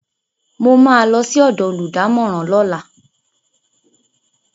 Mo ma lọ sí ọ̀dọ̀ olùdámọ̀ràn lọ́la